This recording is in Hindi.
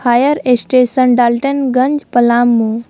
Fire station Daltonganj Palamu.